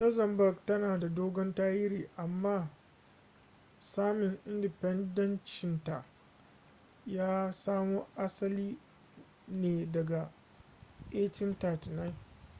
luxembourg tana da dogon tarihi amma samin independenceancinta ya samo asali ne daga 1839